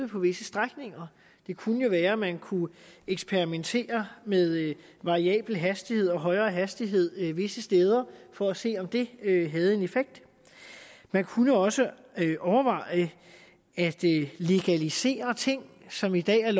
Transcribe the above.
på visse strækninger det kunne jo være at man kunne eksperimentere med variabel hastighed og højere hastighed visse steder for at se om det havde en effekt man kunne også overveje at legalisere ting som i dag er